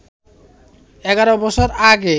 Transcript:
১১ বছর আগে